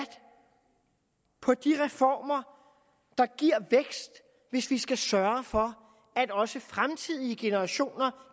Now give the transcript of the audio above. på de reformer der giver vækst hvis vi skal sørge for at også fremtidige generationer